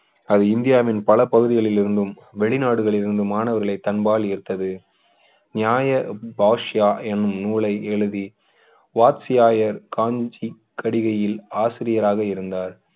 அது இந்தியாவின் பல பகுதிகளில் இருந்தும் வெளிநாடுகளில் இருந்து மாணவர்களை தன் பால் ஈர்த்தது நியாய பாஷ்யா என்னும் நூலை எழுதி வாத்ஸ்யாயர் காஞ்சி கடிகையில் ஆசிரியராக இருந்தார்